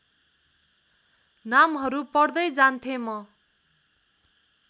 नामहरू पढ्दै जान्थेँ म